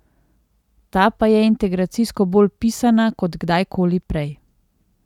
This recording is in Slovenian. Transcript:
Ta pa je integracijsko bolj pisana kot kdajkoli prej.